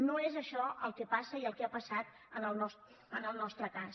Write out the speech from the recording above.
no és això el que passa i el que ha passat en el nostre cas